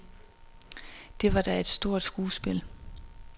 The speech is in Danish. Det var da et stort skuespil.